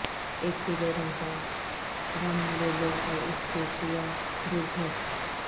ایک پیلے رنگ کا گم لے لو اور اس کے سیاہ دور پھینک